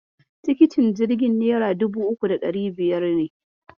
Tikitin jirgin nera dubu uku da ɗari biyar ne.